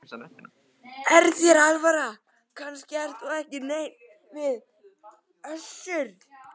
Er þér alvara, kannast þú ekki neitt við hann Össur?